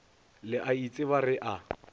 le a itseba re a